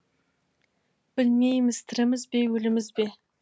білмейміз тіріміз бе өліміз бе